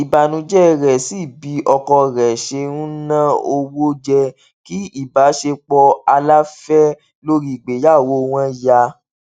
ìbànújẹ rẹ sí bí ọkọ rẹ ṣe ń na owó jẹ kí ìbáṣepọ aláfẹ lórí ìgbéyàwó wọn yà